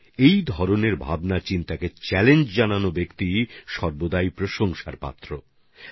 এই ধরনের ভাবনাকে চ্যালেঞ্জ জানানোর মতো মানুষ সবসময় প্রশংসার যোগ্য হন